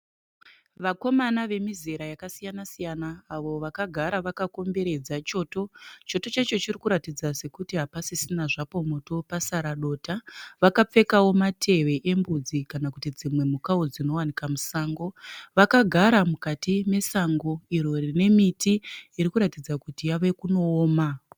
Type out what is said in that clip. Vakomana vemizera yakasiyana siyana avo vakagara vakakomberedza choto . Choto chacho chiri kuratidza sekuti hapasisina zvapo moto pasara dota. Vakapfekawo matehwe embudzi kana dzimwe mhukawo dzinowanikwa musango. Vakagara mukati nesango iro rine miti irikuratidza kuti yave kunooma.